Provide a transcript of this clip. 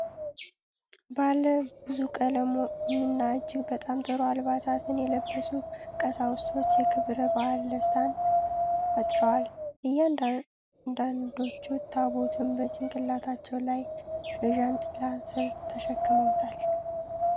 ባለ ብዙ ቀለምና እጅግ በጣም ጥሩ አልባሳት የለበሱ ቀሳውስት የክብረ በዓል ደስታን ፈጥረዋል። አንዳንዶቹ ታቦቱን በጭንቅላታቸው ላይ በጃንጥላ ስር ተሸክመውታል።